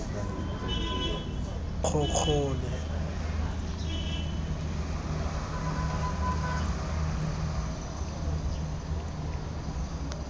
kgokgole